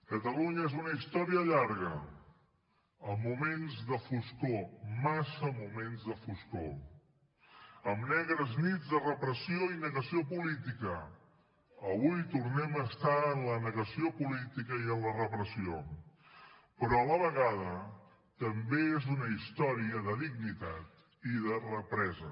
catalunya és una història llarga amb moments de foscor massa moments de foscor amb negres nits de repressió i negació política avui tornem a estar en la negació política i en la repressió però a la vegada també és una història de dignitat i de represa